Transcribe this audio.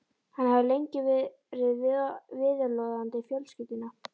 Hann hafði lengi verið viðloðandi fjölskylduna.